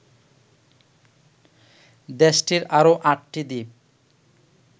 দেশটির আরো আটটি দ্বীপ